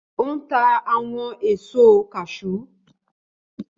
Ó ń ta àwọn èso kashúú